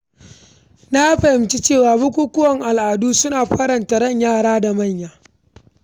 Na fahimci cewa bukukuwan al’adu suna faranta ran yara da manya.